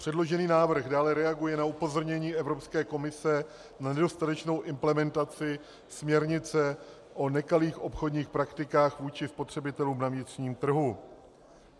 Předložený návrh dále reaguje na upozornění Evropské komise na nedostatečnou implementaci směrnice o nekalých obchodních praktikách vůči spotřebitelům na vnitřním trhu.